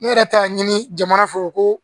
Ne yɛrɛ ta y'a ɲini jamana fɛ ko